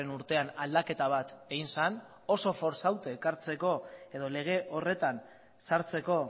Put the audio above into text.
urtean aldaketa bat egin zen oso fortzauta ekartzeko edo lege horretan sartzeko